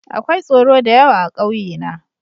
Akwai tsoro da yawa a ƙauye na.